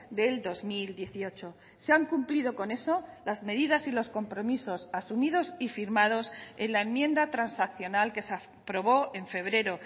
del dos mil dieciocho se han cumplido con eso las medidas y los compromisos asumidos y firmados en la enmienda transaccional que se aprobó en febrero